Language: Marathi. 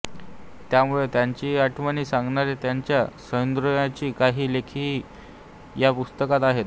त्यामुळे त्यांच्याही आठवणी सांगणारे त्यांच्या सुहृदांचे काही लेखही या पुस्तकात आहेत